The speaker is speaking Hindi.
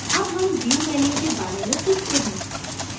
अब हम view menu के बारे में सीखते हैं